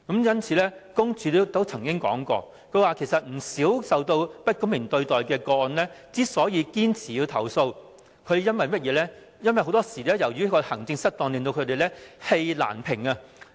因此，申訴專員公署曾經指出，不少受到不公平對待的投訴人堅持作出投訴，很多時是因為當局的行政失當令他們氣難平。